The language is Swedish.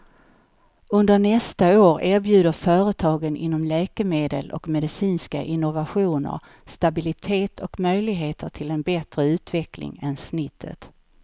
Under nästa år erbjuder företagen inom läkemedel och medicinska innovationer stabilitet och möjligheter till bättre utveckling än snittet.